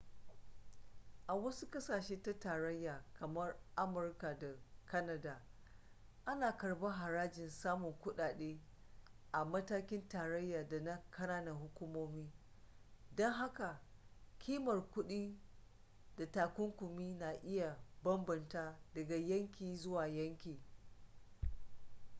a wasu ƙasashe na tarayya kamar amurka da kanada ana karɓar harajin samun kuɗaɗe a matakin tarayya da na ƙananan hukumomi don haka ƙimar kuɗi da takunkumi na iya bambanta daga yanki zuwa yanki